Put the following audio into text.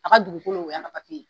A ka dugukolo o yan ka papiye ye.